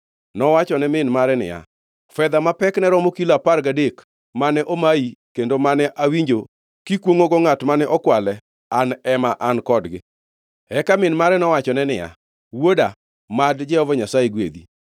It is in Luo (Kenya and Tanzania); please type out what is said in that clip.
nowachone min mare niya, “Fedha ma pekne romo kilo apar gadek mane omayi kendo mane awinjo kikwongʼogo ngʼat mane okwale; an ema an kodgi.” Eka min mare nowachone niya, “Wuoda, mad Jehova Nyasaye gwedhi!”